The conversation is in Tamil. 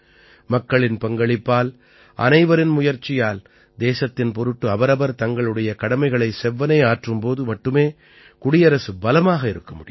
மக்களின் பங்களிப்பால் அனைவரின் முயற்சியால் தேசத்தின் பொருட்டு அவரவர் தங்களுடைய கடமைகளை செவ்வனே ஆற்றும் போது மட்டுமே குடியரசு பலமாக இருக்க முடியும்